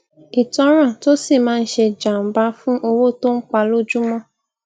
ìtanràn tó si maa n se janba fun owó tó ń pa lójúmó